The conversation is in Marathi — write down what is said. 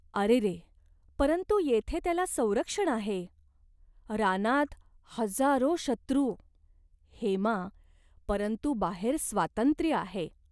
अरेरे !" "परंतु येथे त्याला संरक्षण आहे. रानात हजारो शत्रू." "हेमा, परंतु बाहेर स्त्रातंत्र्य आहे.